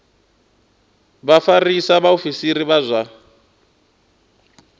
vha vhafarisa vhaofisiri vha zwa